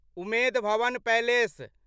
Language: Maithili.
उमेद भवन पैलेस